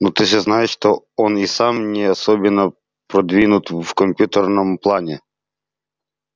ну ты же знаешь что он и сам не особенно продвинут в компьютерном плане